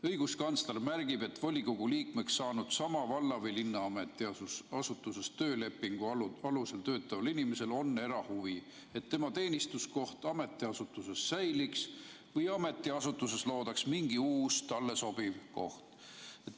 Õiguskantsler märgib, et volikogu liikmeks saanud sama valla või linna ametiasutuses töölepingu alusel töötaval inimesel on erahuvi, et tema teenistuskoht ametiasutuses säiliks või et ametiasutuses loodaks mingi uus, talle sobiv teenistuskoht.